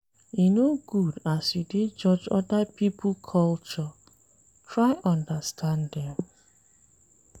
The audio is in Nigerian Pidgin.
E no good as you dey judge oda pipo culture, try understand dem.